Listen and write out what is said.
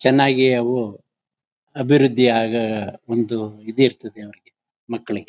ಚೆನ್ನಾಗಿ ಅವು ಅಭಿವೃದ್ಧಿ ಆಗ ಒಂದು ಇದಿರ್ತದೆ ಅವ್ರಿಗೆ ಮಕ್ಕಳಿಗೆ.